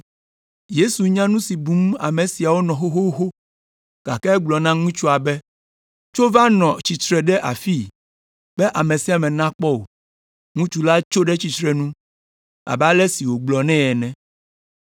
Yesu nya nu si bum ame siawo nɔ xoxoxo, gake egblɔ na ŋutsua be, “Tso va nɔ tsitre ɖe afii be ame sia ame nakpɔ wò.” Ŋutsu la tso ɖe tsitrenu abe ale si wògblɔ nɛ ene.